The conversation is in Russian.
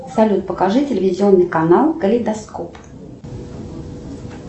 салют покажи телевизионный канал калейдоскоп